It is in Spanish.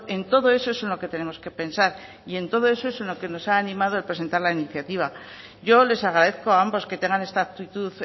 en todo eso es lo que tenemos que pensar y en todo es lo que nos ha animado a presentar la iniciativa yo les agradezco a ambos que tenga esta actitud